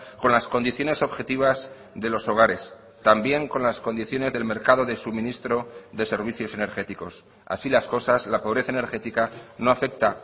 con las condiciones objetivas de los hogares también con las condiciones del mercado de suministro de servicios energéticos así las cosas la pobreza energética no afecta